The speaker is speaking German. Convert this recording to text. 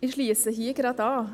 Ich schliesse hier gleich an: